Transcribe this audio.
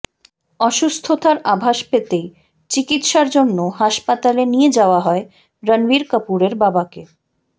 অসুস্থতার আভাস পেতেই চিকিতসার জন্য হাসপাতালে নিয়ে যাওয়া হয় রণবীর কাপুরের বাবাকে